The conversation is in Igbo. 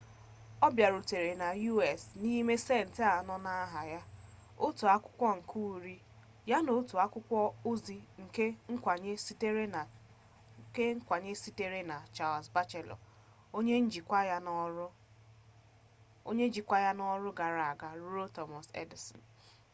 ọ bịarutere na us n’inwe centị anọ n’aha ya otu akwụkwọ nke uri ya na otu akwụkwọ ozi nke nkwanye sitere na charles batchelor onye njikwa ya n’ọrụ ya gara aga ruo thomas edison